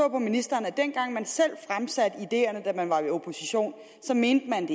ministeren at dengang man selv fremsatte ideerne da man var i opposition mente man